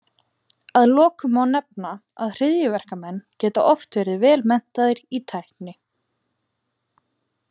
Að lokum má nefna, að hryðjuverkamenn geta oft verið vel menntaðir í tækni.